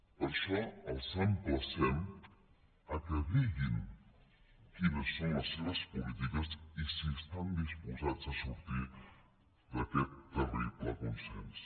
per això els emplacem que diguin quines són les seves polítiques i si estan disposats a sortir d’aquest terrible consens